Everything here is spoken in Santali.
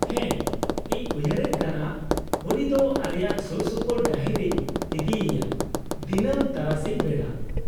-ᱦᱮᱸ, ᱤᱧ ᱩᱭᱦᱟᱹᱨᱮᱫ ᱠᱟᱱᱟ ᱩᱱᱤ ᱫᱚ ᱟᱞᱮᱭᱟᱜ ᱥᱩᱨᱥᱩᱯᱩᱨ ᱰᱟᱹᱦᱤ ᱨᱮᱧ ᱤᱫᱤᱭᱮᱭᱟ ᱫᱤᱱᱟᱹᱢ ᱛᱟᱨᱟᱥᱤᱧ ᱵᱮᱲᱟ ᱾